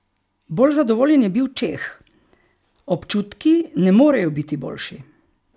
Bolj zadovoljen je bil Čeh: "Občutki ne morejo biti boljši.